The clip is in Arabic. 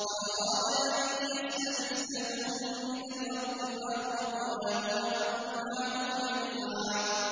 فَأَرَادَ أَن يَسْتَفِزَّهُم مِّنَ الْأَرْضِ فَأَغْرَقْنَاهُ وَمَن مَّعَهُ جَمِيعًا